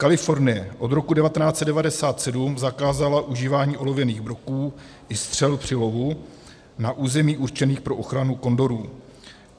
Kalifornie od roku 1997 zakázala užívání olověných broků i střel při lovu na územích určených pro ochranu kondorů.